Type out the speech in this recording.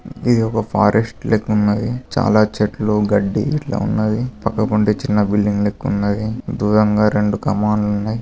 ఇది ఒక ఫారెస్ట్ లెక్క ఉన్నది. చాలా చెట్లు గడ్డి ఇట్లా ఉన్నది. పక్క చిన్న బిల్డింగ్ లెక్క ఉన్నది. ధూరం గా రెండు ఉన్నాయి.